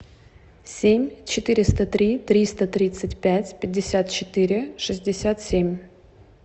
семь четыреста три триста тридцать пять пятьдесят четыре шестьдесят семь